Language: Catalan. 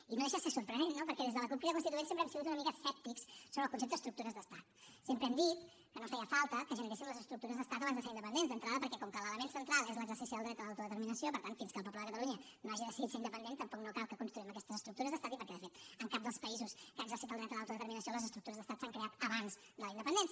i no deixa de ser sorprenent no perquè des de la cup crida constituent sempre hem sigut una mica escèptics sobre el concepte estructures d’estat sempre hem dit que no feia falta que generéssim les estructures d’estat abans de ser independents d’entrada perquè com que l’element central és l’exercici del dret a l’autodeterminació per tant fins que el poble de catalunya no hagi decidit ser independent tampoc no cal que construïm aquestes estructures d’estat i perquè de fet en cap dels països que ha exercit el dret a l’autodeterminació les estructures d’estat s’han creat abans de la independència